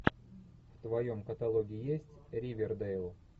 в твоем каталоге есть ривердейл